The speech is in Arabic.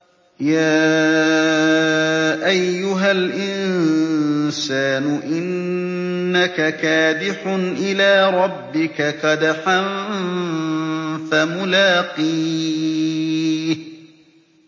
يَا أَيُّهَا الْإِنسَانُ إِنَّكَ كَادِحٌ إِلَىٰ رَبِّكَ كَدْحًا فَمُلَاقِيهِ